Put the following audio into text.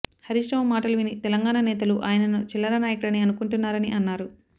హరీష్ రావు మాటలు విని తెలంగాణ నేతలు ఆయనను చిల్లర నాయకుడని అనుకుంటున్నారని అన్నారు